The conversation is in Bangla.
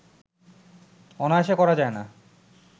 অনায়াসে করা যায় না